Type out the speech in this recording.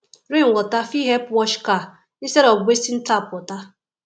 rain water fit help wash car instead of wasting tap water